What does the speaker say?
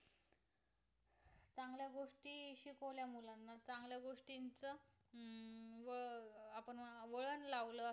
वळण लावलं